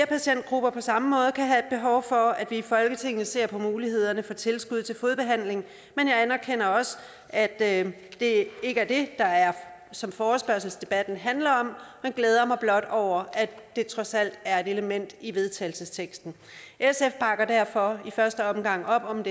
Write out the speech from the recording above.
patientgrupper på samme måde kan have behov for at vi i folketinget ser på mulighederne for tilskud til fodbehandling men jeg anerkender også at det ikke er det som forespørgselsdebatten handler om men glæder mig blot over at det trods alt er et element i vedtagelsesteksten sf bakker derfor i første omgang op om